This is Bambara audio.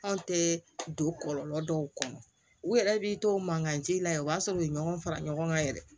Anw tɛ don kɔlɔlɔ dɔw kɔnɔ u yɛrɛ b'i to mankancɛ la yan o b'a sɔrɔ u ye ɲɔgɔn fara ɲɔgɔn kan yɛrɛ